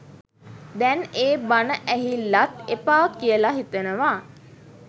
දැන් ඒ බණ ඇහිල්ලත් එපා කියලා හිතෙනවා